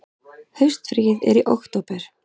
Haustfríið er í október.